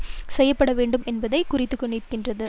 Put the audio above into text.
செய்யவேண்டும் என்பதை குறித்துநிற்கின்றது